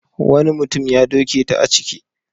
Wani mutum ya doke ta a ciki.